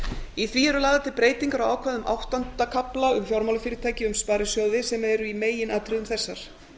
í því eru lagðar til breytingar á ákvæðum áttunda kafla um fjármálafyrirtæki um sparisjóði sem eru í meginatriðum þessar